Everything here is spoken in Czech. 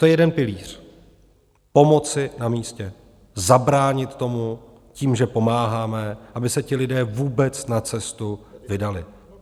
To je jeden pilíř - pomoc na místě, zabránit tomu tím, že pomáháme, aby se ti lidé vůbec na cestu vydali.